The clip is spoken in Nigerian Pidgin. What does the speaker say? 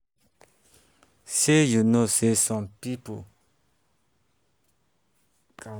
shey you um know sey some people um dey rely on both faith and um medicine to feel say dem don really heal.